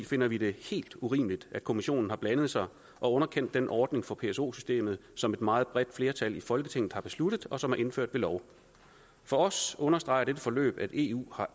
finder vi det helt urimeligt at kommissionen har blandet sig og underkendt den ordning for pso systemet som et meget bredt flertal i folketinget har besluttet og som er indført ved lov for os understreger dette forløb at eu har